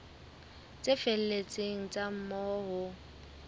tse felletseng tsa moo ho